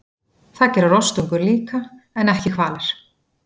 Það gera rostungar líka, en ekki hvalir.